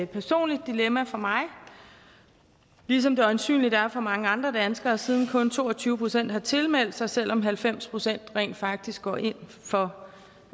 personligt dilemma for mig ligesom det øjensynlig er for mange andre danskere siden kun to og tyve procent har tilmeldt sig selv om halvfems procent rent faktisk går ind for